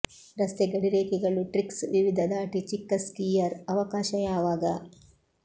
ರಸ್ತೆ ಗಡಿರೇಖೆಗಳು ಟ್ರಿಕ್ಸ್ ವಿವಿಧ ದಾಟಿ ಚಿಕ್ಕ ಸ್ಕೀಯರ್ ಅವಕಾಶ ಯಾವಾಗ